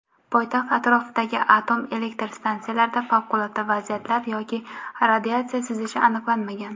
Poytaxt atrofidagi atom elektr stansiyalarida favqulodda vaziyatlar yoki radiatsiya sizishi aniqlanmagan.